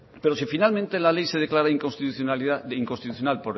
pero si finalmente la ley se declara inconstitucional